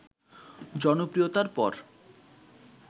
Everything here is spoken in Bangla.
জনপ্রিয়তার পর